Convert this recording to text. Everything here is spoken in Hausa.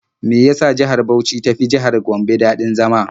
Me ya sa jihar Bauch ta fi jihar Gombe daɗin zama?